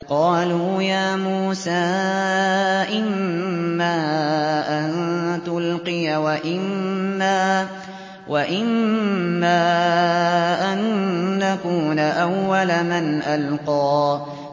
قَالُوا يَا مُوسَىٰ إِمَّا أَن تُلْقِيَ وَإِمَّا أَن نَّكُونَ أَوَّلَ مَنْ أَلْقَىٰ